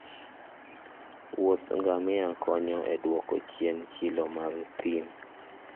wuodh ngamia konyo e duoko chien chilo mag thim